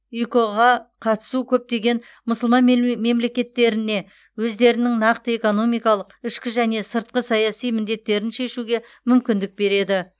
икұ ға қатысу көптеген мұсылман мемлекеттеріне өздерінің нақты экономикалық ішкі және сыртқы саяси міндеттерін шешуге мүмкіндік береді